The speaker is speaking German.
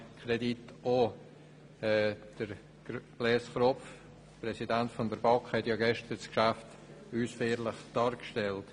Kropf hat als Präsident der BaK das Geschäft gestern ausführlich dargelegt.